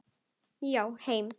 Já, heim.